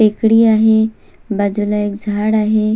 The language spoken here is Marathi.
टेकडी आहे बाजूला एक झाड आहे.